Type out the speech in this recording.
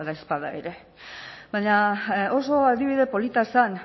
badaezpada ere baina oso adibide polita zen